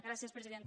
gràcies presidenta